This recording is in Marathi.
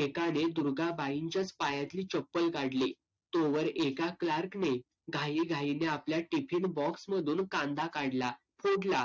एकाने दुर्गाबाईंच्याच पायातली चप्पल काढली. तोवर एका clerk ने घाईघाईने आपल्या tifin box मधून कांदा काढला. फोडला.